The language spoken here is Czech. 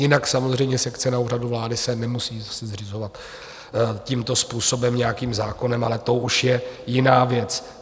Jinak samozřejmě sekce na Úřadu vlády se nemusí zřizovat tímto způsobem nějakým zákonem, ale to už je jiná věc.